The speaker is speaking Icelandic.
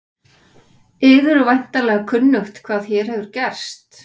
Yður er væntanlega kunnugt hvað hér hefur gerst.